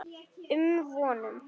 um vonum.